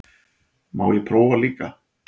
Má ég prófa líka!